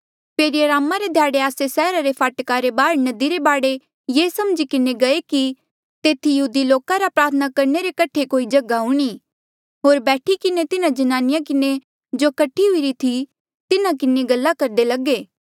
फेरी अरामा रे ध्याड़े आस्से सैहरा रे फाटका रे बाहर नदी रे बाढे ये समझी किन्हें गये कि तेथी यहूदी लोका रा प्रार्थना करणे रे कठे कोई जगहा हूणीं होर बैठी किन्हें तिन्हा ज्नानिया किन्हें जो कठी हुईरी थी तिन्हा किन्हें गल्ला करदे लगे